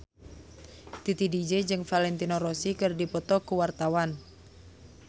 Titi DJ jeung Valentino Rossi keur dipoto ku wartawan